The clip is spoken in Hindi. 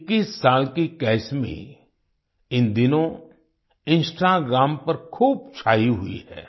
21 साल की कैसमी इन दिनों इंस्टाग्राम पर खूब छाई हुई है